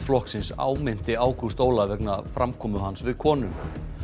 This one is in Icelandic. flokksins áminnti Ágúst Ólaf vegna framkomu hans við konu